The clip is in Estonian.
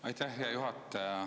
Aitäh, hea juhataja!